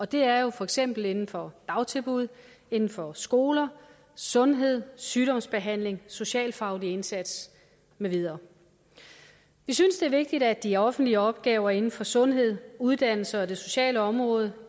det er jo for eksempel inden for dagtilbud inden for skoler sundhed sygdomsbehandling socialfaglig indsats med videre vi synes det er vigtigt at de offentlige opgaver inden for sundhed uddannelse og det sociale område